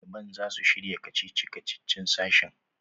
Ɗaliban za su shirya kacici-kacicin sashin.